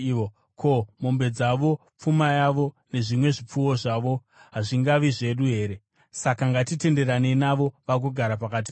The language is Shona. Ko, mombe dzavo, pfuma yavo nezvimwe zvipfuwo zvavo hazvingavi zvedu here? Saka ngatitenderanei navo, vagogara pakati pedu.”